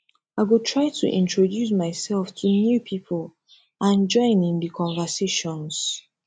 i go try to introduce myself to new people and join in di conversations